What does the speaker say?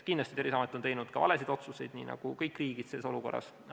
Kindlasti on Terviseamet teinud ka valesid otsuseid, nii nagu kõigis riikides neid selles olukorras on tehtud.